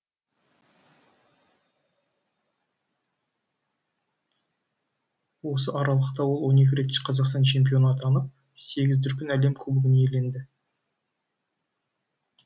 осы аралықта ол он екі рет қазақстан чемпионы атынып сегіз дүркін әлем кубогын иеленді